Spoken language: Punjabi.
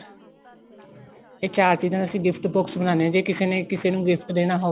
ਇਹ ਚਾਰ ਚੀਜ਼ਾਂ ਅਸੀਂ gift box ਬਣਾਨੇ ਆ ਜੇ ਕਿਸੇ ਨੇ ਕਿਸੇ ਨੂੰ gift ਦੇਣਾ ਹੋਵੇ